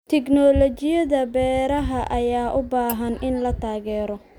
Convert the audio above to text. Tignoolajiyada beeraha ayaa u baahan in la taageero.